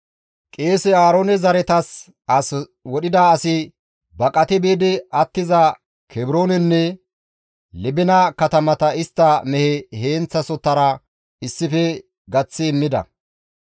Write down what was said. Qeese Aaroone zaretas as wodhida asi baqati biidi attiza Kebroonenne, Libina katamata istta mehe heenththasohora issife gaththi immida.